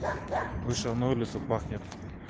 вышел на улицу пахнет